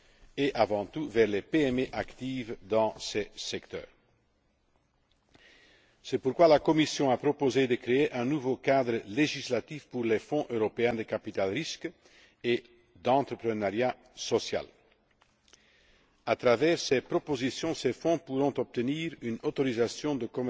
et, avant tout, vers les PME actives dans ces secteurs. C'est pourquoi la Commission a proposé de créer un nouveau cadre législatif pour les fonds européens de capital risque et d'entrepreneuriat social. À travers ces propositions, ces fonds pourront obtenir une autorisation